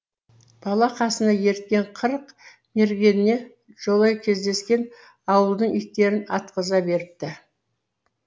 бала қасына ерткен қырық мергеніне жолай кездескен ауылдың иттерін атқыза беріпті